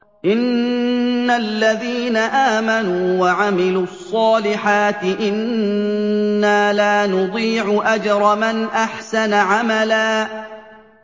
إِنَّ الَّذِينَ آمَنُوا وَعَمِلُوا الصَّالِحَاتِ إِنَّا لَا نُضِيعُ أَجْرَ مَنْ أَحْسَنَ عَمَلًا